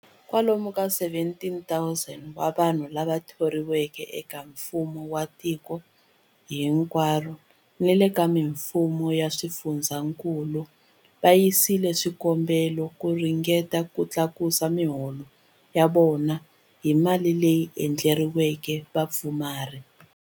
Kwalomu ka 17,000 wa vanhu lava thoriweke eka mfumo wa tiko hinkwaro ni le ka mifumo ya swifundzankulu va yisile swikombelo hi ku ringeta ku tlakusa miholo ya vona hi mali leyi endleriweke vapfumari.